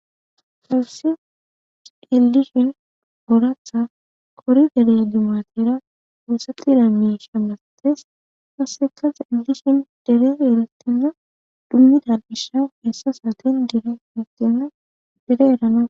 hebsi elishin oratha kori gere dimatera doossati dammi shamastes kasseka s ellishin dere erettenna dummidal isha hessa saaten dere hiigqenna dere erana